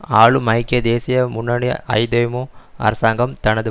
ஆளும் ஐக்கிய தேசிய முன்னணி ஐதேமு அரசாங்கம் தனது